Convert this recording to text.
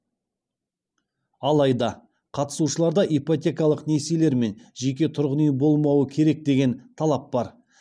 алайда қатысушыларда ипотекалық несиелер мен жеке тұрғын үй болмауы керек деген талап бар